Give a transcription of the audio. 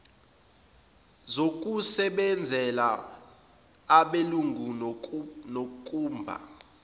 zokusebenzela abelungu nokumba